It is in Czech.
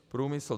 Průmysl.